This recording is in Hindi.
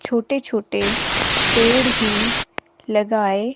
छोटे-छोटे पेड़ भी लगाए--